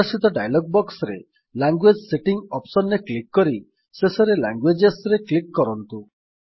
ପ୍ରଦର୍ଶିତ ଡାୟଲଗ୍ ବକ୍ସରେ language settings option ରେ କ୍ଲିକ୍ କରି ଶେଷରେ Languagesରେ କ୍ଲିକ୍ କରନ୍ତୁ